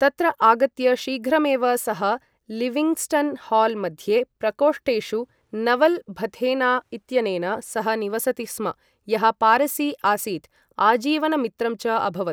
तत्र आगत्य शीघ्रमेव सः लिविङ्ग्स्टन् हाल् मध्ये प्रकोष्टेषु नवल भथेना इत्यनेन सह निवसति स्म, यः पारसी आसीत्, आजीवनमित्रं च अभवत्।